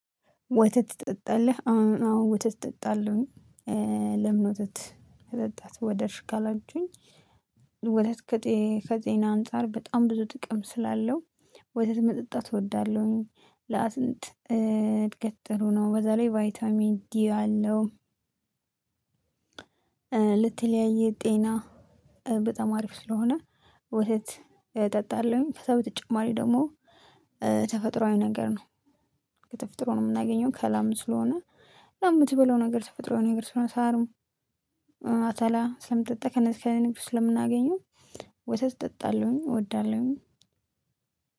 ወተት ትጠጣለህ? አዎ ወተት ትጠጣለሁኝ። ለምን ወተት ወደድሽ ካላችሁኝ? ወደ ከዜና አንፃር በጣም ብዙ ጥቅም ስላለው ወተት መጠጣት እወዳለሁኝ። ለአጥንት እድገት ጥሩ ነው በዛ ላይ ቫይታሚን ዲ አለው። ለተለያየእ ጤና በጣም አሪፍ ስለሆነ ወተት እጠጣለሁኝ። ከዛ በተጨማሪ ደግሞ ተፈጥሮአዊ ነገር ነው። ከተፈጥሮ ነው የምናገኘው ከላም ስለሆነ ለምትበለው ነገር ስፈጥረው ነገር ስለሆነ ሳርም አተላ ስለምጠጣ ከነዚህ ከእኔ ብዙ ስለምናገኘው ወተት ጠጣለሁኝ። እወዳለሁኝ